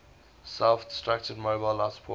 self designed mobile life support